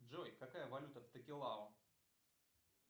джой какая валюта в токелау